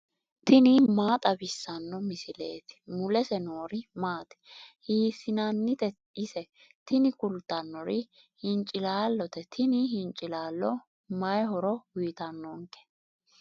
tini maa xawissanno misileeti ? mulese noori maati ? hiissinannite ise ? tini kultannori hincilaallote tini hincilaallo may horo uyiitannonke.